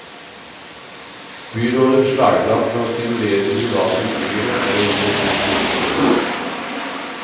Byrådets slagplan for å stimulere de private utbyggerne er å gi dem ti millioner kroner.